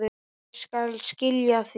Ég skal skila því.